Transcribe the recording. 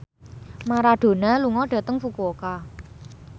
Maradona lunga dhateng Fukuoka